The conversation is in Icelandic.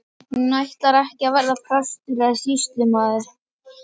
Hún ætlar ekki að verða prestur eða sýslumaður.